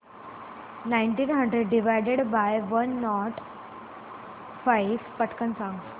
nineteen hundred divided by one nought five पटकन सांग